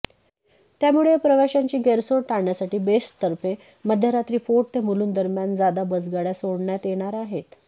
त्यामुळे या प्रवाशांची गैरसोय टाळण्यासाठी बेस्टतर्फे मध्यरात्री फोर्ट ते मुलुंडदरम्यान जादा बसगाड्या सोडण्यात येणार आहेत